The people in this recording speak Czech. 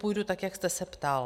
Půjdu tak, jak jste se ptal.